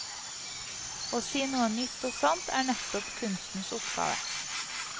Å si noe nytt og sant er nettopp kunstens oppgave.